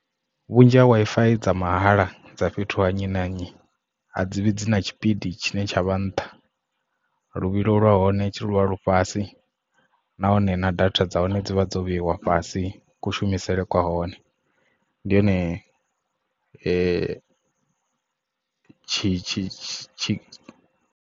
Vhunzhi ha Wi-Fi dza mahala dza fhethu ha nnyi na nnyi a dzivhi dzi na tshipidi tshine tsha vha nṱha luvhilo lwa hone tshi luvha lufhasi nahone na data dza hone dzi vha dzo vheiwe fhasi kushumisele kwa hone ndi hone .